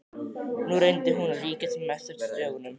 Nú reyndi hún að líkja sem mest eftir stöfunum.